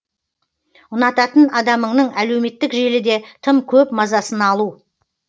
ұнататын адамыңның әлеуметтік желіде тым көп мазасын алу